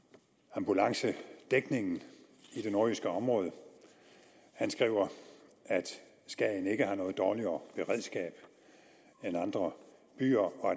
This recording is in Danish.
ambulancedækningen i det nordjyske område han skriver at skagen ikke har noget dårligere beredskab end andre byer og